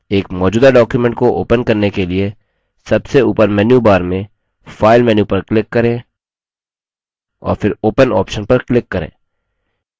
एक मौजूदा document को open करने के लिए सबसे ऊपर menu bar में file menu पर click करें और फिर open option पर click करें